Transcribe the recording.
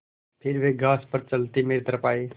फिर वे घास पर चलते मेरी तरफ़ आये